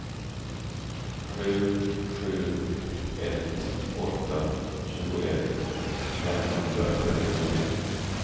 sju sju ett åtta tjugoett femhundratrettiotre